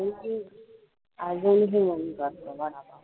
आज ही करते वडापाव